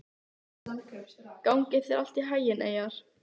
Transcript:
Gangi þér allt í haginn, Eyjar.